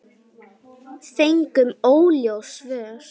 Fengum óljós svör.